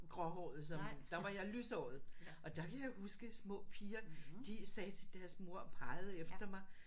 Gråhåret som der var jeg lyshåret og der kan jeg huske små piger de sagde til deres mor og pegede efter mig